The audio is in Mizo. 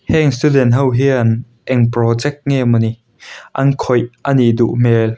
heng student ho hian eng project nge maw ni an khawih a nih duh hmel.